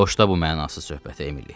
Boşla bu mənasız söhbəti Emili.